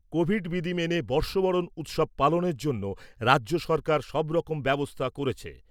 Covid বিধি মেনে বর্ষবরণ উৎসব পালনের জন্য রাজ্য সরকার সবরকম ব্যবস্থা করেছে।